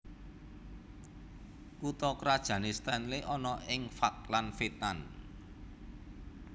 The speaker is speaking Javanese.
Kutha krajané Stanley ana ing Falkland Wétan